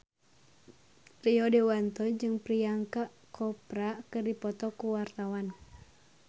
Rio Dewanto jeung Priyanka Chopra keur dipoto ku wartawan